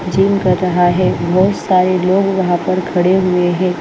Gym कर रहा है बहुत सारे लोग वहां पर खड़े हुए हैं।